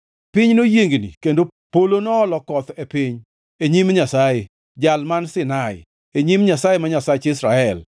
piny noyiengni kendo polo noolo koth e piny, e nyim Nyasaye, Jal man Sinai, e nyim Nyasaye ma Nyasach Israel.